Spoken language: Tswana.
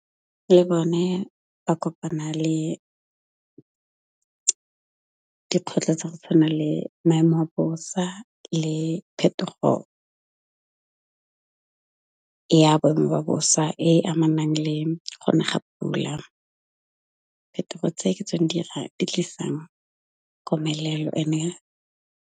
Le bone ba kopana le dikgwetlho tsa go tshwana le maemo a bosa le phetogo ya boemo ba bosa, e amanang le gone ga pula. Phetogo tse ke tsone dira di tlisang komelelo ene.